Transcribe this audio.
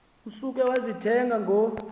usuke wayibetha ngo